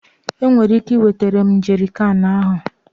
ị nwere ike iwetara m jerrycan ahụ?